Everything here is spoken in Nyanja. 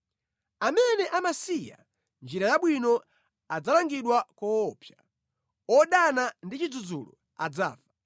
Amene amasiya njira yabwino adzalangidwa koopsa. Odana ndi chidzudzulo adzafa.